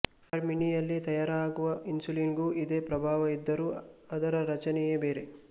ಕಾಡ್ ಮೀನಿಯಲ್ಲಿ ತಯಾರಾಗುವ ಇನ್ಸುಲಿನ್ನಿಗೂ ಇದೇ ಪ್ರಭಾವ ಇದ್ದರೂ ಅದರ ರಚನೆಯೇ ಬೇರೆ